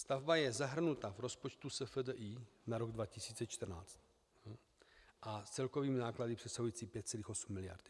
Stavba je zahrnuta v rozpočtu SFDI na rok 2014 s celkovými náklady přesahujícími 5,8 miliardy.